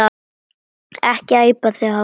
Ekki æpa þig hása!